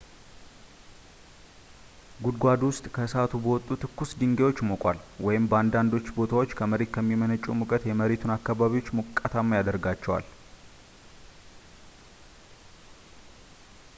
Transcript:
ጉድጓዱ ወይ ከእሳቱ በወጡ ትኩስ ድንጋዮች ሞቋል ወይም በአንዳንድ ቦታዎች ከመሬት የሚመነጨው ሙቀት የመሬቱን አካባቢዎች ሞቃታማ ያደርጋቸዋል